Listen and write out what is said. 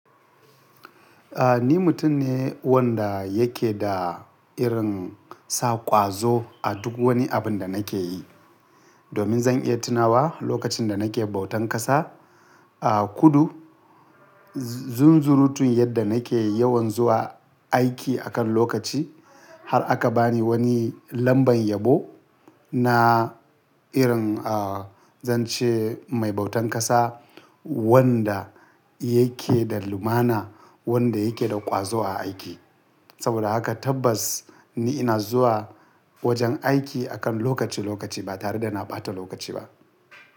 A, ni mutum ne wanda yake da irin sa ƙwazo a duk wani abun da nake yi, domin zan iya tunawa lokacin da nake bautan ƙasa a kudu, zunzurutun yadda nake yawan zuwa aiki akan lokaci har aka bani wani lambar yabo na irin a, zan ce mai bautan ƙasa wanda yake da lumana, wanda yake da ƙwazo a aiki. Saboda haka tabbas ni ina zuwa wajen aiki akan lokaci lokaci ba tare da na ɓata lokaci ba.